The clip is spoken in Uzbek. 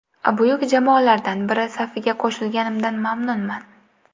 Buyuk jamoalardan biri safiga qo‘shilganimdan mamnunman.